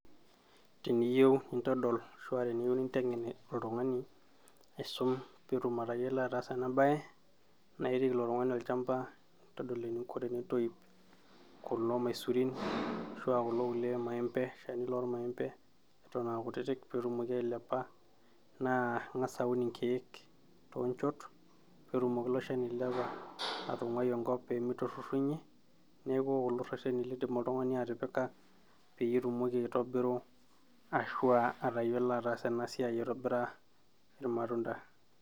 teniyieu nintodol ashua teniyieu ninteng'en oltung'ani aisum peetum atayiolo ataasa ena baye naa irik ilo tung'ani olchamba nintodol eninko tenintoyup kulo maisurin ashua kulo kulie maembe, shani lormaembe eton aa kutitik peetumoki ailepa naa ing'as aun inkeek toonchot peetumoki ilo shani ailepa atung'uai enkop pee miturrurrunyie neeku kulo rrereni lindim oltung'ani atipika peyie itumoki aitobiru ashua atayiolo ataasa ena siai aitobira irmatunda.